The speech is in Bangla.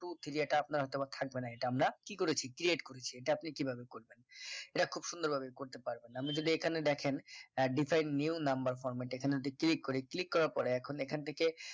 two three এটা আপনার হয় তো বা থাকবে না এটা আমরা কি করে কি create করেছি করেছি এটা আপনি কিভাব করবেন এটা খুব সুন্দর ভাবে করতে পারবেন আমি যদি এখানে দেখেন decide new number format এখানে যদি click করি click করার পরে এখন এখান থেকে